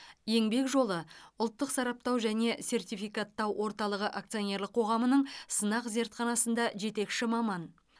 еңбек жолы ұлттық сараптау және сертификаттау орталығы акционерлік қоғамының сынақ зертханасында жетекші маман